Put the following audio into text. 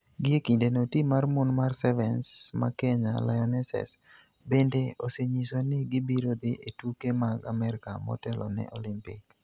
Gie kindeno, tim mar mon mar Sevens, ma Kenya Lionesses, bende osenyiso ni gibiro dhi e tuke mag Amerka motelo ne Olimpik.